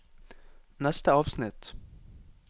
neste avsnitt